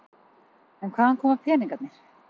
En hvaðan koma peningarnir?